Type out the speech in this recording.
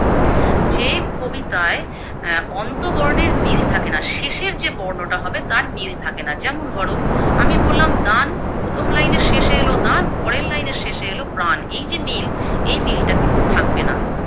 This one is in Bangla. যে কবিতায় অ্যা অন্তবর্ণের মিল থাকেনা শেষের যে বর্ণটা হবে তার মিল থাকেনা, যেমন ধরো, আমি বললাম দান প্রথম লাইনের শেষে এলো দান পরের লাইনের শেষে এলো প্রাণ এই যে মিল এই মিলটা কিন্তু থাকবেনা।